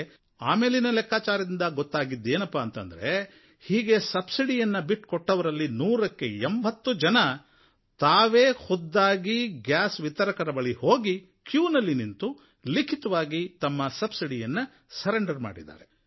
ಆದರೆ ಲೆಕ್ಕಾಚಾರಗಳಿಂದ ಆಮೇಲೆ ಗೊತ್ತಾಗಿದ್ದು ಅಂದ್ರೆ ಹೀಗೆ ಸಬ್ಸಿಡಿಯನ್ನು ಬಿಟ್ಟುಕೊಟ್ಟವರಲ್ಲಿ ನೂರಕ್ಕೆ ಎಂಭತ್ತು ಜನ ತಾವೇ ಖುದ್ದಾಗಿ ಗ್ಯಾಸ್ ವಿತರಕರ ಬಳಿ ಹೋಗಿ ಕ್ಯೂನಲ್ಲಿ ನಿಂತು ಲಿಖಿತವಾಗಿ ತಮ್ಮ ಸಬ್ಸಿಡಿಯನ್ನು ಬಿಟ್ಟುಕೊಟ್ಟಿದ್ದಾರೆ